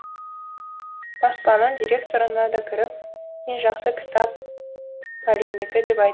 баспаның директорына да кіріп ең жақсы кітап пәлендікі деп айтты